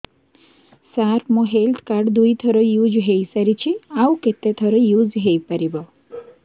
ସାର ମୋ health card ଦୁଇ ଥର ୟୁଜ଼ ହୈ ସାରିଛି ଆଉ କେତେ ଥର ୟୁଜ଼ ହୈ ପାରିବ